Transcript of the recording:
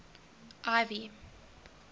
ivy